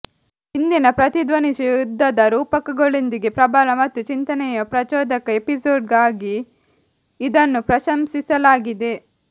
ಇಂದಿನ ಪ್ರತಿಧ್ವನಿಸುವ ಯುದ್ಧದ ರೂಪಕಗಳೊಂದಿಗೆ ಪ್ರಬಲ ಮತ್ತು ಚಿಂತನೆಯ ಪ್ರಚೋದಕ ಎಪಿಸೋಡ್ ಆಗಿ ಇದನ್ನು ಪ್ರಶಂಸಿಸಲಾಗಿದೆ